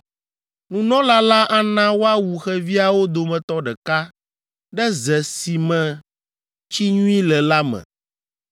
Nunɔla la ana woawu xeviawo dometɔ ɖeka ɖe ze si me tsi nyui le la me.